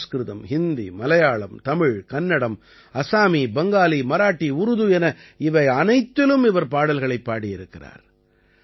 சம்ஸ்கிருதம் ஹிந்தி மலையாளம் தமிழ் கன்னடம் அஸாமி பங்காலி மராட்டி உருது என இவையனைத்திலும் இவர் பாடல்களைப் பாடியிருக்கிறார்